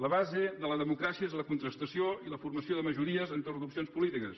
la base de la democràcia és la contrastació i la formació de majories entorn d’opcions polítiques